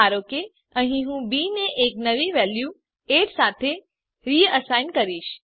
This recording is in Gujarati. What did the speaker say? ધારોકે અહીં હું બી ને એક નવી વેલ્યુ 8 સાથે રીઅસાઇન કરીશ